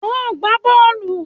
Óò gbá bọ́ọ̀lù!